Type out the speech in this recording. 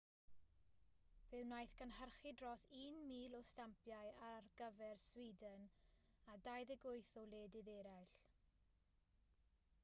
fe wnaeth gynhyrchu dros 1,000 o stampiau ar gyfer sweden a 28 o wledydd eraill